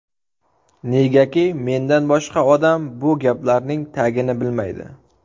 Negaki, mendan boshqa odam bu gaplarning tagini bilmaydi.